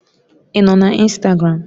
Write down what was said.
Ị nọ na Instagram?